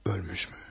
Ölmüşmü?